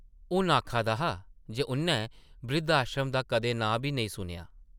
हून आखा दा हा जे उʼन्नै ब्रिद्ध-आश्रम दा कदें नांऽ बी नेईं सुनेआ ।